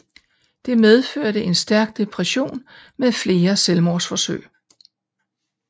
Det medførte en stærk depression med flere selvmordsforsøg